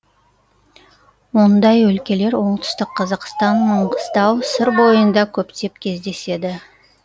ондай өлкелер оңтүстік қазақстан маңғыстау сыр бойында көптеп кездеседі